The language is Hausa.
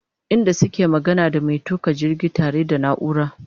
inda suke magana da maintuka jirgi ta re da naura